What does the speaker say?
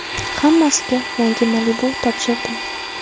Hammasiga yangi Malibu topshirdim .